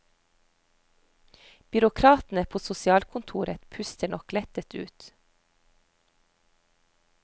Byråkratene på sosialkontoret puster nok lettet ut.